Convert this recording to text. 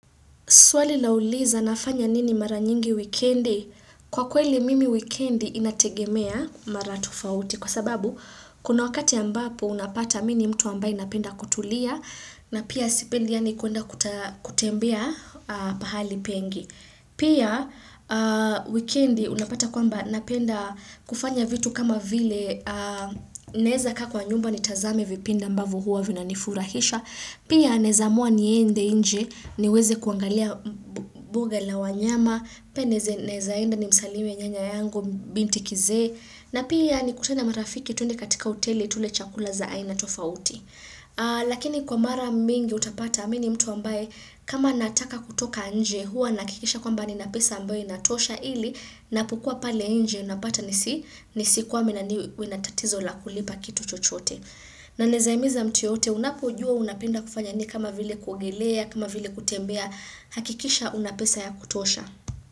Swali la uliza nafanya nini mara nyingi wikendi. Kwa kweli mimi wikendi inategemea mara tofauti. Kwa sababu, kuna wakati ambapo unapata mi ni mtu ambaye napenda kutulia. Na pia sipendi yaani kuenda kutembea pahali pengi. Pia, wikendi unapata kwamba napenda kufanya vitu kama vile naeza kaa kwa nyumba nitazame vipindi ambavyo huwa vina nifurahisha. Pia naeza amua niende inje, niweze kuangalia buga la wanyama, pia naeza enda ni msalimu ya nyanya yangu binti kizee, na pia ni kutane marafiki twende katika hoteli tule chakula za aina tofauti. Lakini kwa mara mingi utapata mi ni mtu ambaye kama nataka kutoka nje hua nahakikisha kwamba nina pesa ambaye inatosha ili napokua pale nje unapata nisi nisikwame na niwe na tatizo la kulipa kitu chochote. Na naeza himiza mtu yoyote unapojua unapenda kufanya nini kama vile kuogelea, kama vile kutembea, hakikisha una pesa ya kutosha.